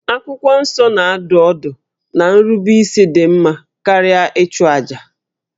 Akwụkwọ Nsọ na-adụ ọdụ na nrubeisi dị mma karịa ịchụ àjà